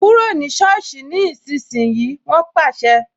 Kúrò ní soosi ni ìsinsìnyí "wọn pàṣẹ